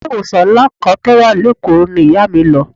Ilé ìwòsàn ńlá kan tó wà lékòó ni Ìyá mi lọ.